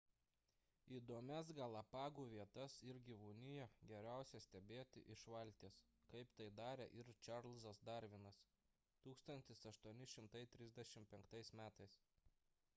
įdomias galapagų vietas ir gyvūniją geriausia stebėti iš valties kaip tai darė ir čarlzas darvinas 1835 m